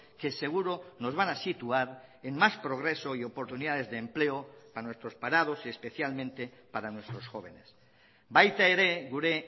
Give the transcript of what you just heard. que seguro nos van a situar en más progreso y oportunidades de empleo a nuestros parados y especialmente para nuestros jóvenes baita ere gure